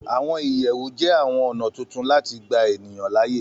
Àwọn ìyẹ̀wù jẹ́ àwọn ọ̀nà tuntun láti gbà ènìyàn láàyè